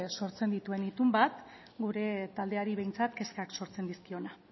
sortzen dituen itun bat gure taldeari behintzat kezkak sortzen dizkiona